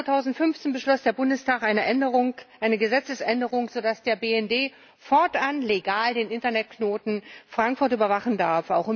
Im Juni 2015 beschloss der Bundestag eine Gesetzesänderung, so dass der BND fortan legal den Internetknoten Frankfurt überwachen darf.